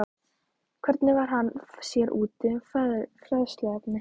Hvernig varð hann sér úti um fræðsluefnið?